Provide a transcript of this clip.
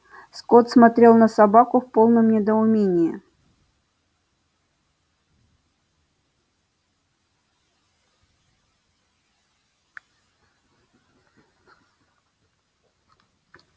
скотт смотрел на собаку в полном недоумении